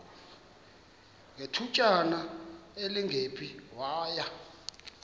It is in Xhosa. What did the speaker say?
ngethutyana elingephi waya